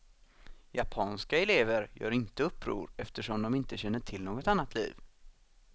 Japanska elever gör inte uppror eftersom de inte känner till något annat liv.